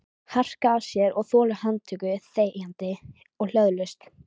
Harka af sér og þola handtöku þegjandi og hljóðalaust?